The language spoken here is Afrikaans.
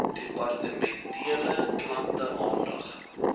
departementele klante aandag